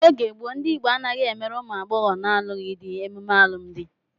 N'oge gboo, ndị Igbo anaghị emere ụmụ agbọghọ na-alụghị di emume alụmdi.